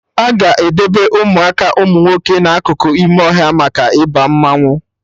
Aga edebe Ụmụaka umunwoke na akụkụ ime ọhịa maka Ịba mmanwụ